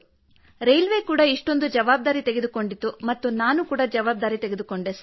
railway ಕೂಡಾ ಇಷ್ಟೊಂದು ಜವಾಬ್ದಾರಿ ತೆಗೆದುಕೊಂಡಿತು ಮತ್ತು ನಾನು ಕೂಡಾ ಜವಾಬ್ದಾರಿ ತೆಗೆದುಕೊಂಡೆ ಸರ್